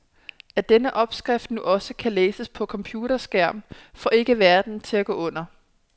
At denne opskrift nu også kan læses på computerskærm får ikke verden til at gå under.